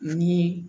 Ni